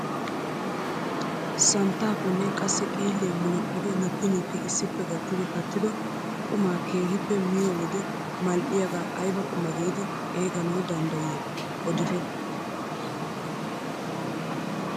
Santtaapenne qassi xiilliyaa munaqqidi nukki nukki issippe gattidi kattido qumaa keehippe miyoo wode mal"iyaagaa ayba qumaa giidi xeeganawu danddayiyoo odite?